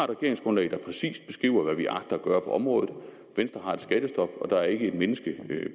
regeringsgrundlag der præcist beskriver hvad vi agter at gøre på området venstre har et skattestop og der er ikke et menneske